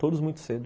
Todos muito cedo.